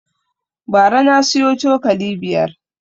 Bara na siyo cokali biyar